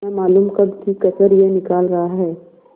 न मालूम कब की कसर यह निकाल रहा है